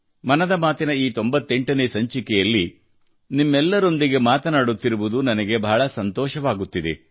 ಮನದ ಮಾತಿನ ಈ 98 ನೇ ಸಂಚಿಕೆಯಲ್ಲಿ ನಿಮ್ಮೆಲ್ಲರೊಂದಿಗೆ ಮಾತನಾಡುತ್ತಿರುವುದು ನನಗೆ ಬಹಳ ಸಂತೋಷವಾಗುತ್ತಿದೆ